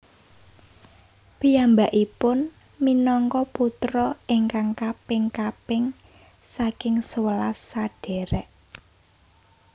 Piyambakipun minangka putra ingkang kaping kaping saking sewelas sadhèrèk